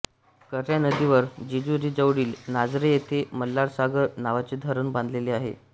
कऱ्हा नदीवर जेजुरी जवळील नाझरे येथे मल्हारसागर नावाचे धरण बांधलेले आहे